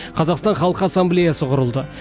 қазақстан халқы ассамблеясы құрылды